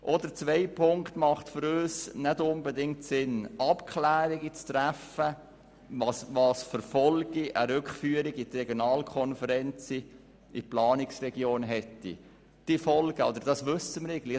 Auch der zweite Punkt, Abklärungen zu treffen, welche Folgen eine Rückführung der Regionalkonferenzen in Planungsregionen hätten, macht für uns nicht unbedingt Sinn.